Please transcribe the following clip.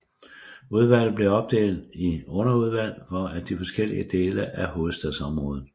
Udvalget blev opdelt i underudvalg for de forskellige dele af hovedstadsområdet